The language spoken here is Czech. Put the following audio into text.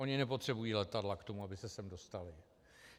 Oni nepotřebují letadla k tomu, aby se sem dostali.